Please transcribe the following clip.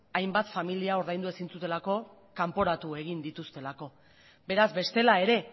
hainbat familia ordaindu ezin zutelako kanporatu egin dituztelako beraz bestela ere